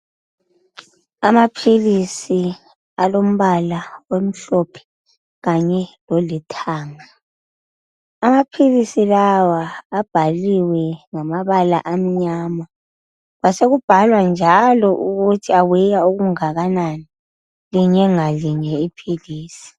Amaphilisi alombala omhlophe kanye lolithanga. Amaphilisi lawa abhaliwe ngamabala amnyama kwasekubhalwa njalo ukuthi aweya okungakanani linye ngalinye iphilisi.